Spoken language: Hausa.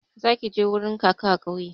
Zaki je wurin kaka a kauye